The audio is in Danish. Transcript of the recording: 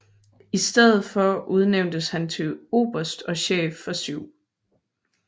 I stedet for udnævntes han til oberst og chef for 7